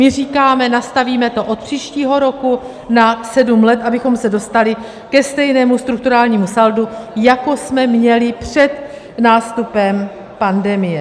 My říkáme, nastavíme to od příštího roku na sedm let, abychom se dostali ke stejnému strukturálnímu saldu, jako jsme měli před nástupem pandemie.